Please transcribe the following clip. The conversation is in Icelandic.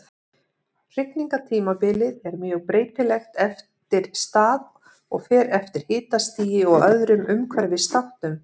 Hrygningartímabilið er mjög breytilegt eftir stað og fer eftir hitastigi og öðrum umhverfisþáttum.